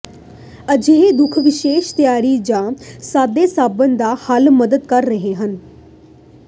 ਅਜਿਹੇ ਦੁੱਖ ਵਿਸ਼ੇਸ਼ ਤਿਆਰੀ ਜ ਸਾਦੇ ਸਾਬਣ ਦਾ ਹੱਲ ਮਦਦ ਕਰ ਰਹੇ ਹਨ